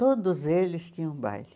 Todos eles tinham baile.